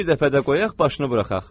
Bir dəfə də qoyaq başını buraxaq.